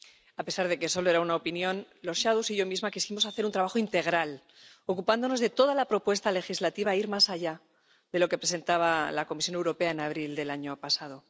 A pesar de que solo era una opinión, los ponentes de opinión alternativos y yo misma quisimos hacer un trabajo integral, ocupándonos de toda la propuesta legislativa e ir más allá de lo que presentaba la Comisión Europea en abril del año pasado.